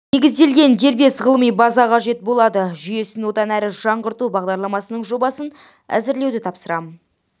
негізделген дербес ғылыми база қажет болады жүйесін одан әрі жаңғырту бағдарламасының жобасын әзірлеуді тапсырамын